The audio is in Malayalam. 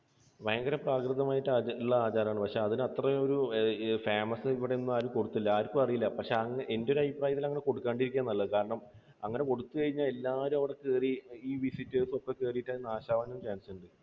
ഭയങ്കര പ്രാകൃതമായിട്ടുള്ള ആചാരമാണ്. പക്ഷേ അതിന് അത്രയും ഒരു famous ഇവിടെയൊന്നും ആരും കൊടുത്തില്ല. ആർക്കും അറിയില്ല. പക്ഷേ എൻറെ ഒരു അഭിപ്രായത്തിൽ അങ്ങനെ കൊടുക്കാതെ ഇരിക്കുകയാണ് നല്ലത്. കാരണം അങ്ങനെ കൊടുത്തു കഴിഞ്ഞാൽ എല്ലാവരും അവിടെ കയറി, ഈ visitors ഒക്കെ കയറിയിട്ട് അത് നാശം ആകാനും chance ഉണ്ട്.